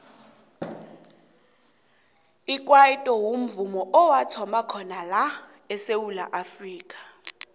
ikwaito mvumo owathoma khona la esewula afrika